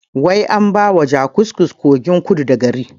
Wai an baiwa jakusko kogin kudu da gari